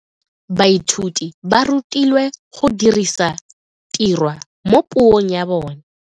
Baithuti ba rutilwe go dirisa tirwa mo puong ya bone.